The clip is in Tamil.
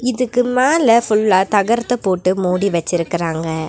இதுக்கு மேல ஃபுல்லா தகரத்த போட்டு மூடி வெச்சுருக்கறாங்க.